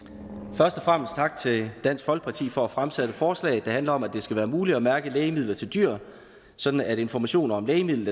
først og fremmest tak til dansk folkeparti for at fremsætte forslaget der handler om at det skal være muligt at mærke lægemidler til dyr sådan at information om lægemidlet